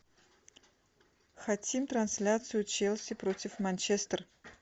хотим трансляцию челси против манчестер